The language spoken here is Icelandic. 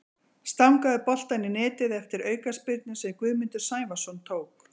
Stangaði boltann í netið eftir aukaspyrnu sem Guðmundur Sævarsson tók.